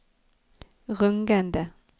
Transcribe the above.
rungende